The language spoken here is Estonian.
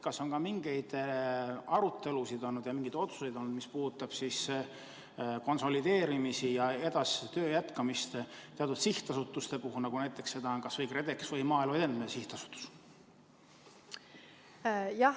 Kas on olnud ka mingeid arutelusid ja mingeid otsuseid, mis puudutavad konsolideerimisi ja töö jätkamist teatud sihtasutustes, nagu näiteks KredExis ja Maaelu Edendamise Sihtasutuses?